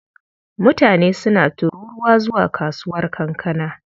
Mutane suna tururuwa zuwa kasuwar kankana.